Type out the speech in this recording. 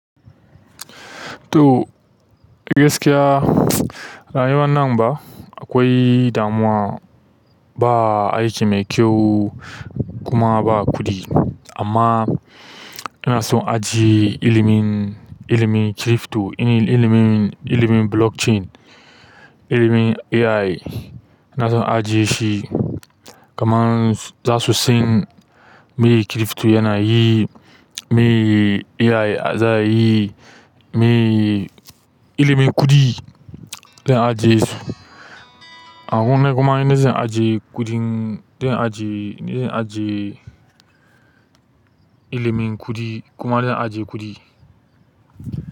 To gaskiya, rayuwar nan ba akwai damuwa ba aiki mai kyau kuma ba kuɗi. Amma ina son ajiye ilimin, ilimin crypto, ilimin, ilimin blockchain, ilimin AI, ina son ajiye shi. Kaman za su san me crypto yana yi, me AI za yi, me ilimin kuɗi zan ajiye su. Akwai kuma ina zan ajiye kuɗin, zan ajiye, in dai zan ajiye ilimin kuɗi kuma zan ajiye kuɗi.